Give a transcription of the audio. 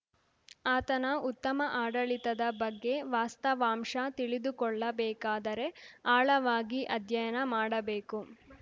ಆತನ ಉತ್ತಮ ಆಡಳಿತದ ಬಗ್ಗೆ ವಾಸ್ತವಾಂಶ ತಿಳಿದುಕೊಳ್ಳಬೇಕಾದರೆ ಅಳವಾಗಿ ಅಧ್ಯಯನ ಮಾಡಬೇಕು